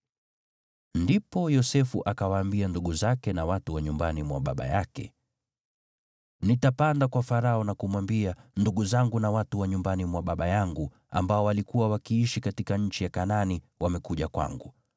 Ndipo Yosefu akawaambia ndugu zake na watu wa nyumbani mwa baba yake, “Nitapanda kwa Farao na kumwambia, ‘Ndugu zangu na watu wa nyumbani mwa baba yangu, waliokuwa wakiishi katika nchi ya Kanaani, wamekuja kwangu.